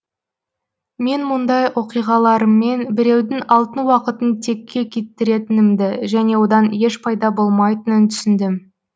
мен мұндай оқиғаларыммен біреудің алтын уақытын текке кетіретінімді және одан еш пайда болмайтынын түсіндім